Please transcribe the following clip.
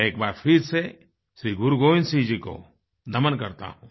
मैं एक बार फिर से श्री गुरु गोबिन्द सिंह जी को नमन करता हूँ